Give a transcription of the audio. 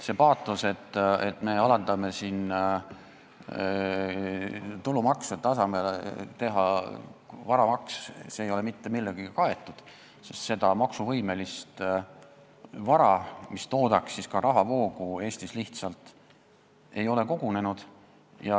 See paatos, et me alandame tulumaksu, et asemele teha varamaks, ei ole mitte millegagi kaetud, sest maksuvõimelist vara, mis toodaks ka rahavoogu, ei ole Eestis lihtsalt kogunenud.